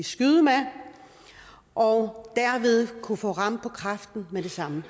skyde med og derved vil kunne få ram på kræften med det samme